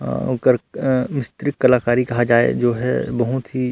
अऊ ओकर अ मिस्त्रीक कलाकारी कहा जाए जो है बहुत ही--